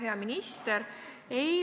Hea minister!